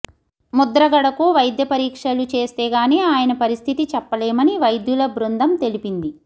ముద్రగడకు వైద్య పరీక్షలు చేస్తేగానీ ఆయన పరిస్థితి చెప్పలేమని వైద్యుల బృందం తెలిపింది